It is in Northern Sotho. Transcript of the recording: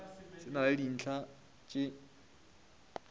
se na le dintlha tše